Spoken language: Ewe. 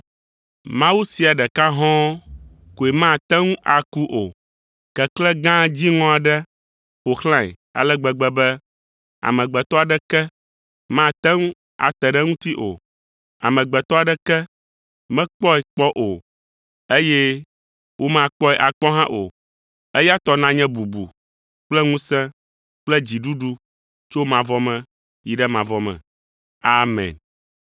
Mawu sia ɖeka hɔ̃ɔ koe mate ŋu aku o; keklẽ gã dziŋɔ aɖe ƒo xlãe ale gbegbe be amegbetɔ aɖeke mate ŋu ate ɖe eŋuti o. Amegbetɔ aɖeke mekpɔe kpɔ o, eye womakpɔe akpɔ hã o. Eya tɔ nanye bubu kple ŋusẽ kple dziɖuɖu tso mavɔ me yi ɖe mavɔ me. Amen.